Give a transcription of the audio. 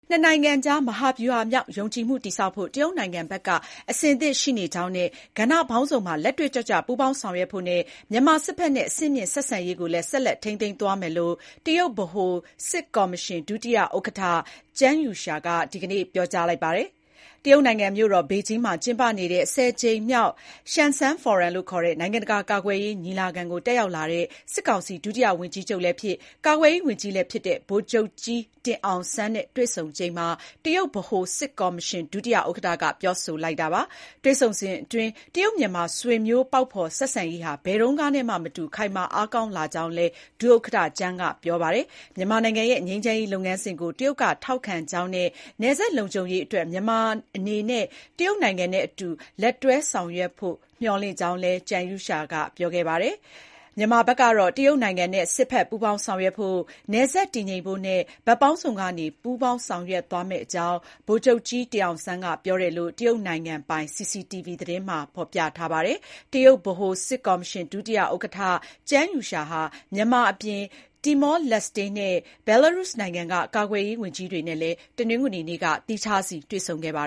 နှစ်နိုင်ငံကြား မဟာဗျူဟာမြောက် ယုံကြည်မှုတည်ဆောက်ဖို့ တရုတ်နိုင်ငံဘက်က အဆင်သင့်ရှိနေကြောင်းနဲ့ ကဏ္ဍပေါင်းစုံမှာ လက်တွေ့ကျကျပူးပေါင်း ဆောင်ရွက်ဖို့နဲ့ မြန်မာစစ်ဖက်နဲ့ အဆင့်မြင့်ဆက်ဆံရေးကိုလည်း ဆက်ထိန်းသိမ်းသွားမယ်လို့ တရုတ်ဗဟိုစစ်ကော်မရှင် ဒုတိယ ဥက္ကဋ္ဌ Zhang Youxia (ကျန်းယူရှား) က ဒီကနေ့ (အောက်တိုဘာ ၃၀) ပြောကြားခဲ့ပါတယ်။ တရုတ်နိုင်ငံမြို့တော် ဘေဂျင်းမှာ ကျင်းပနေတဲ့ ၁၀ ကြိမ်မြောက် ရှန်စန်း ဖိုရမ်လို့ခေါ်တဲ့ နိုင်ငံတကာကာကွယ်ရေးညီလာခံကို တက်ရောက်လာတဲ့ စစ်ကောင်စီ ဒုတိယဝန်ကြီးချုပ်လည်းဖြစ် ကာကွယ်ရေးဝန်ကြီးလည်းဖြစ်တဲ့ ဗိုလ်ချုပ်ကြီးတင်အောင်စန်းနဲ့ တွေ့ဆုံချိန်မှာ တရုတ်ဗဟိုစစ်ကော်မရှင်ဒုဥက္ကဋ္ဌက ပြောဆိုလိုက်တာပါ။ တွေ့ဆုံစဥ်အတွင်း တရုတ် မြန်မာ ဆွေမျိုးပေါက်ဖေါ် ဆက်ဆံရေးဟာ ဘယ်တုန်းကနဲ့မှ မတူ ခိုင်မာအားကောင်းလာကြောင်းလည်း ဒုဥက္ကဋ္ဌကျန်းက ပြောကြားခဲ့တယ်လို့ သိရပါတယ်။ မြန်မာနိုင်ငံရဲ့ ငြိမ်းချမ်းရေးလုပ်ငန်းစဉ်ကို တရုတ်က ထောက်ခံကြောင်းနဲ့ နယ်စပ်လုံခြုံရေးအတွက် မြန်မာနိုင်ငံအနေနဲ့ တရုတ်နိုင်ငံနဲ့အတူ လက်တွဲဆောင်ရွက်ဖို့ မျှော်လင့်ကြောင်းလည်း ကျန်းယူရှားက ပြောပါတယ်။ မြန်မာနိုင်ငံဘက်ကလည်း တရုတ်နိုင်ငံနဲ့ စစ်ဖက် ပူးပေါင်းဆောင်ရွက်ဖို့၊ နယ်စပ်တည်ငြိမ်ဖို့နဲ့ ဘက်ပေါင်းစုံကနေ ပူးပေါင်းဆောင်ရွက်သွားမယ့်အကြောင်း ဗိုလ်ချုပ်ကြီးတင်အောင်ဆန်းက ပြောတယ်လို့ တရုတ်နိုင်ငံပိုင် CCTV သတင်းမှာဖေါ်ပြပါတယ်။ တရုတ်ဗဟိုစစ်ကော်မရှင် ဒုဥက္ကဋ္ဌ Zhang Youxia (ကျန်းယူရှား) ဟာ မြန်မာအပြင် တီမောလက်စ်တေနဲ့ ဘယ်လာရုစ်နိုင်ငံက ကာကွယ်ရေးဝန်ကြီးတွေနဲ့ တနင်္ဂနွေနေ့က သီးခြားတွေ့ဆုံခဲ့ပါ